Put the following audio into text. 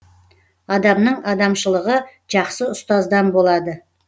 адамның адамшылығы жақсы ұстаздан болады